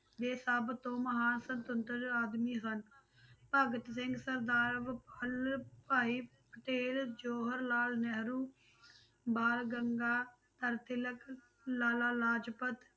ਦੇ ਸਭ ਤੋਂ ਮਹਾਨ ਸੁਤੰਤਰ ਆਦਮੀ ਹਨ, ਭਗਤ ਸਿੰਘ, ਸਰਦਾਰ ਬਲਵ ਭਾਈ ਪਟੇਲ, ਜਵਾਹਰ ਲਾਲ ਨਹਿਰੂ, ਬਾਲ ਗੰਗਾਧਰ ਤਿਲਕ, ਲਾਲਾ ਲਾਜਪਤ